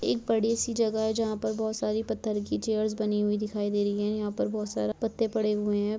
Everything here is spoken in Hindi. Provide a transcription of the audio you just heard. एक बड़ी सी जगह है जहाँ पर बहुत सारी पत्थर की चेयर्स बनी हुई दिखाई दे रही है यहाँ पर बहुत सारे पत्ते पड़े हुए है।